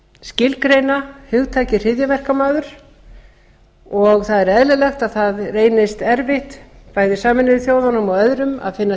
skilgreina hugtakið hryðjuverkamaður það er eðlilegt að það reynist erfitt bæði sameinuðu þjóðunum og öðrum að finna